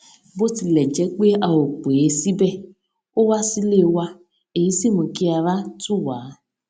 bó tilè jé pé a ò pè é síbè ó wá sílé wa èyí sì mú kí ara tù wá